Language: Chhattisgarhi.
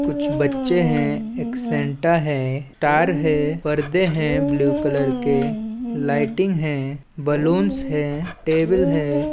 --कुछ बच्चे हैं एक सेन्टा हैं टार हैं पर्दे हैं ब्लू कलर के लाइटिंग हैं बलून्स हैं टेबल हैं।